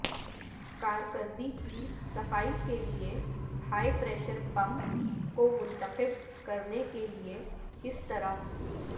کارکردگی کی صفائی کے لئے ہائی پریشر پمپ کو منتخب کرنے کے لئے کس طرح